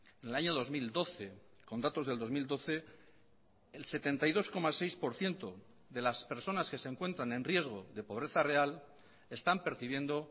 en el año dos mil doce con datos del dos mil doce el setenta y dos coma seis por ciento de las personas que se encuentran en riesgo de pobreza real están percibiendo